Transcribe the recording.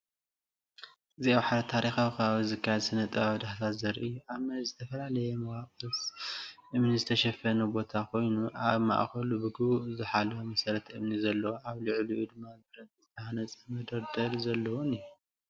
እዚ ኣብ ሓደ ታሪኻዊ ከባቢ ዝተኻየደ ስነ-ጥንታዊ ዳህሳስ ዘርኢ እዩ። ኣብ መሬት ብዝተፈላለየ መዋቕራት እምኒ ዝተሸፈነ ቦታ ኮይኑ፡ ኣብ ማእከሉ ብግቡእ ዝተሓለወ መሰረት እምኒ ዘለዎን ኣብ ልዕሊኡ ድማ ብረት ዝተሃንጸ መደርደሪ ዘለዎን እዩ።